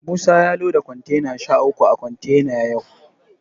Musa ya loda kontena sha uku a kontena yau.